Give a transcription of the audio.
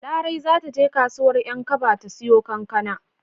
Larai za ta je kasuwar 'Yankaba ta siyo kankana.